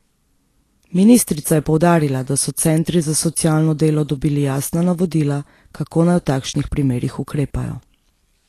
Ministrica je poudarila, da so centri za socialno delo dobili jasna navodila, kako naj v takšnih primerih ukrepajo.